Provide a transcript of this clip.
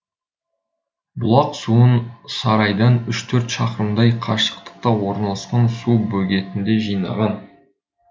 бұлақ суын сарайдан үш төрт шақырымдай қашықтықта орналасқан су бөгетінде жинаған